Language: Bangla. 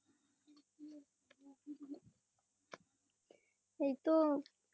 এই তো